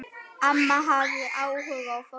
Amma hafði áhuga á fólki.